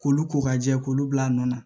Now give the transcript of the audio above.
K'olu ko ka jɛ k'olu bil'a nɔ na